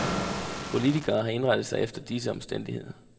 Politikere har indrettet sig efter disse omstændigheder.